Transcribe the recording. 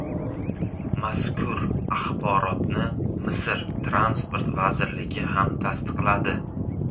Mazkur axborotni Misr Transport vazirligi ham tasdiqladi.